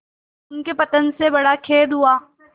उनके पतन से बड़ा खेद हुआ